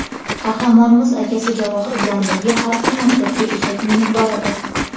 Qahramonimiz akasi Javohir bilan birga har kuni maktabga eshak minib boradi.